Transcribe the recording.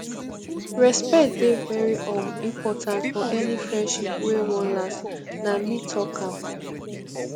respect dey very um important for any friendship wey wan last nah me talk am